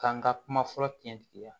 K'an ka kuma fɔlɔ kɛɲɛtigiya